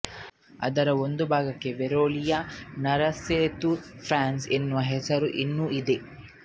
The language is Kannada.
ಅದರ ಒಂದು ಭಾಗಕ್ಕೆ ವೆರೋಲಿಯ ನರಸೇತು ಪಾನ್ಸ್ ಎನ್ನುವ ಹೆಸರು ಇನ್ನೂ ಇದೆ